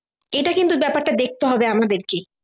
এটা কিন্তু ব্যাপারটা দেখতে হবে আমাদেরকে